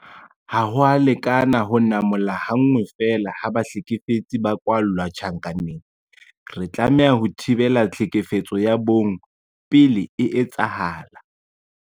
Ha ho a lekana ho namola ha nngwe feela ha bahlekefetsi ba kwalla tjhankaneng. Re tlameha ho thibela tlhekefetso ya bong pele e etsahala.